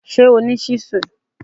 Ṣé o ní ṣíṣù?